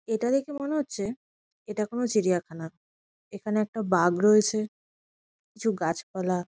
এটা দেখে মনে হচ্ছে এটা কোনো চিড়িয়াখানা। এখানে একটা বাঘ রয়েছে কিছু গাছপালা--